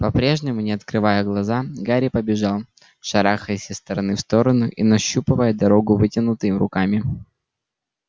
по-прежнему не открывая глаза гарри побежал шарахаясь из стороны в сторону и нащупывая дорогу вытянутыми руками